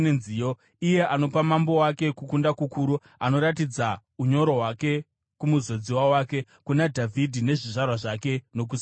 “Iye anopa mambo wake kukunda kukuru; anoratidza unyoro hwake kumuzodziwa wake, kuna Dhavhidhi nezvizvarwa zvake nokusingaperi.”